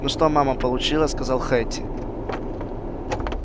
ну что мама получила сказала хэтти